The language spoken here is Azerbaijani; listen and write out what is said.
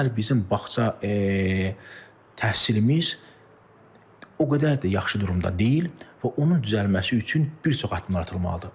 Bugünləri bizim bağça təhsilimiz o qədər də yaxşı durumda deyil və onun düzəlməsi üçün bir çox addımlar atılmalıdır.